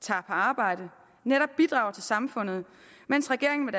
tager på arbejde og netop bidrager til samfundet mens regeringen med